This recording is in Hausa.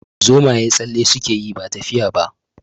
Zomaye tsalle suke yi ba tafiya ba.